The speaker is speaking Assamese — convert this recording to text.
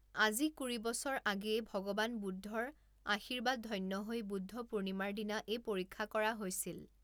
আজি কুৰি বছৰ আগেয়ে ভগবান বুদ্ধৰ আশীৰ্বাদধন্য হৈ বুদ্ধ পূৰ্ণিমাৰ দিনা এই পৰীক্ষা কৰা হৈছিল।